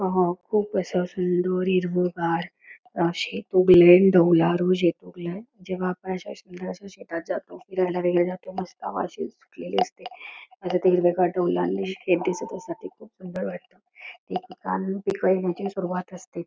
अहं खूप असं सुंदर हिरव गार अशे शेतात जातो फिरायला वगैरे तेव्हा मस्त हवा अशी सुटलेली असते खूप सुंदर वाटत ते पीक घ्यायची सुरुवात असते.